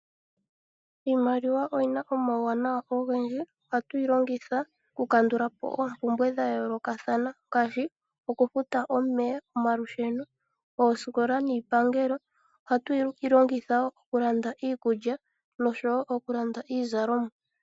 Iimaliwa oyina omauwanawa ogendji ohatu yi longitha oku kandulapo oompumbwe dha yoolokathana ngaashi oku futa omeya, omalusheno, oosikola niipangelo ohatu yi longitha nokulanda iikulya nokulanda iizalomwa.